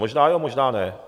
Možná jo, možná ne.